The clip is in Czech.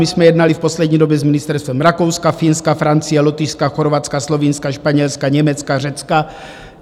My jsme jednali v poslední době s ministerstvem Rakouska, Finska, Francie, Lotyšska, Chorvatska, Slovinska, Španělska, Německa, Řecka.